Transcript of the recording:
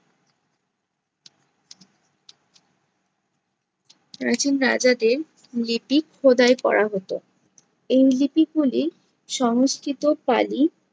প্রাচীন রাজাদের লিপি খোদাই করা হতো। এই লিপিগুলি সংস্কৃত পালি